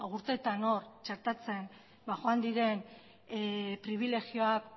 urteetan hor txertatzen joan diren pribilegioak